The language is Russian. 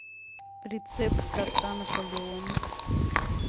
рецепт торта наполеон